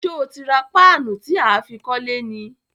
Sé o ti ra paanu tí aá fi kólé ni?